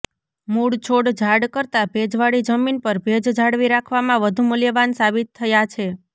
મૂળ છોડ ઝાડ કરતાં ભેજવાળી જમીન પર ભેજ જાળવી રાખવામાં વધુ મૂલ્યવાન સાબિત થયા છે